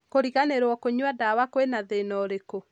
Kũriganirwo kũnyua dawa kwĩna thĩna ũrikũ